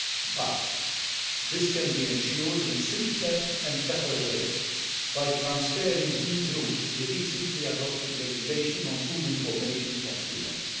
But this can be ensured in a simpler and better way by transferring these rules to the recently adopted Regulation on Food Information to Consumers.